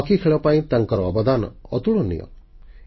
hockey ଖେଳ ପାଇଁ ତାଙ୍କର ଅବଦାନ ଅତୁଳନୀୟ ଥିଲା